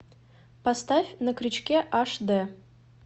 поставь на крючке аш дэ